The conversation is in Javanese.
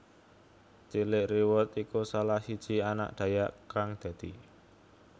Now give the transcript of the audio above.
Tjilik Riwut iku salah sisji anak Dhayak kang dadi